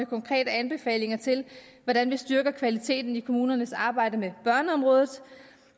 konkrete anbefalinger til hvordan vi styrker kvaliteten i kommunernes arbejde med børneområdet